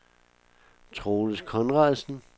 Troels Conradsen